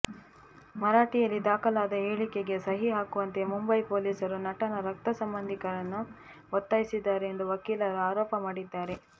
ಮರಾಠಿಯಲ್ಲಿ ದಾಖಲಾದ ಹೇಳಿಕೆಗೆ ಸಹಿ ಹಾಕುವಂತೆ ಮುಂಬೈ ಪೊಲೀಸರು ನಟನ ರಕ್ತಸಂಬಂಧಿಕರನ್ನು ಒತ್ತಾಯಿಸಿದ್ದಾರೆ ಎಂದು ವಕೀಲರು ಆರೋಪ ಮಾಡಿದ್ದಾರೆ